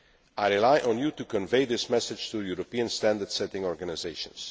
I rely on you to convey this message to European standard setting organisations.